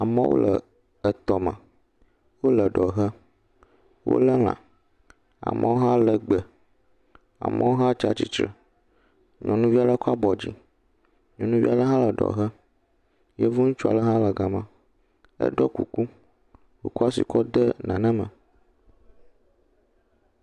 Amewo le etɔ me, o le ɖɔ he, o lé lã, amowo hã le gbe, amowo hã tsatsitsre, nyɔnuvia le kɔ abɔ dzi, nyɔnuvia le hã le ɖɔ he, yevo ŋutsua le hã le gama, eɖɔ kuku, o kɔ ashi kɔ de nane me.